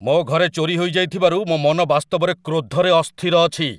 ମୋ ଘରେ ଚୋରି ହୋଇଯାଇଥିବାରୁ ମୋ ମନ ବାସ୍ତବରେ କ୍ରୋଧରେ ଅସ୍ଥିର ଅଛି।